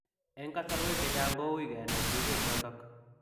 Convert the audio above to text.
Eng kasarwek chechang kouui kenai jinieiek chotok .